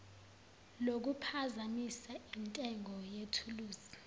lokuphazamisa intengo yethuluzi